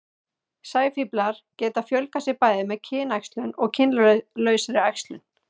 sæfíflar geta fjölgað sér bæði með kynæxlun og kynlausri æxlun